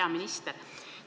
Hea minister!